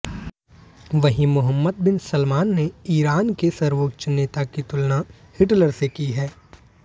वहीं Mohammed bin Salman ने Iran के सर्वोच्च नेता की तुलना हिटलर से की है